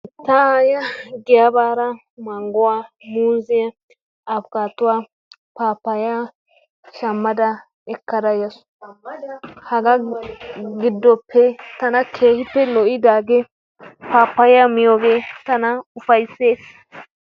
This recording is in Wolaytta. ta aayyiya giyaa baada mangguwaa, muuzziya, afikattuwa, pappaya shammada ekkada yaasu. haga giddoppe tana keehi lo''idaagee pappaya miyooge tana ufayssees.